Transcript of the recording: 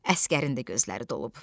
Əsgərin də gözləri dolub.